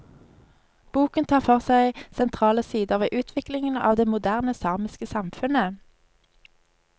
Boken tar for seg sentrale sider ved utviklingen av det moderne samiske samfunnet.